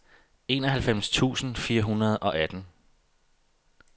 enoghalvfems tusind fire hundrede og atten